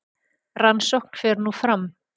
Rannsókn fer nú fram